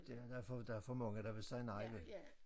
Der der for der for mange der vil sige nej vel